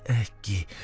ekki